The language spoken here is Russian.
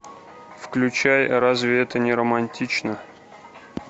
включай разве это не романтично